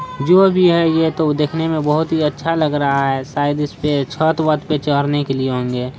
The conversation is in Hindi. जो भी है ये तो देखने में बहुत ही अच्छा लग रहा है शायद इसपे छत-वत पर चढ़ने के लिए होंगे।